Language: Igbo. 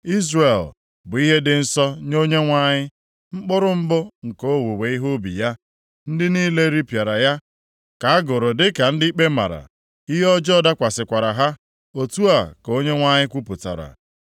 Izrel bụ ihe dị nsọ nye Onyenwe anyị, mkpụrụ mbụ nke owuwe ihe ubi ya. Ndị niile ripịara ya ka a gụrụ dị ka ndị ikpe mara. Ihe ọjọọ dakwasịkwara ha.’ ” Otu a ka Onyenwe anyị kwupụtara.